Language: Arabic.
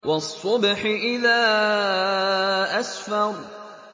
وَالصُّبْحِ إِذَا أَسْفَرَ